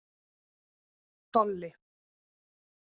Dolli